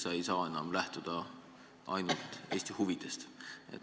Sa ei saa enam lähtuda ainult Eesti huvidest.